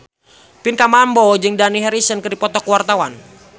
Pinkan Mambo jeung Dani Harrison keur dipoto ku wartawan